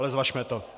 Ale zvažme to.